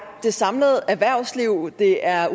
det samlede erhvervsliv det er